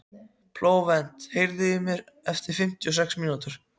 Flóvent, heyrðu í mér eftir fimmtíu og sex mínútur.